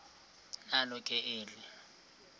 nalo ke eli